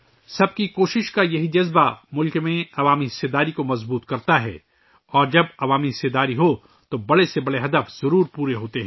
ہر کسی کی کوشش کا یہ جذبہ ملک میں عوام کی شرکت کو تقویت دیتا ہے اور جب عوامی شرکت ہو تو بڑے سے بڑے مقاصد ضرور پورے ہوتے ہیں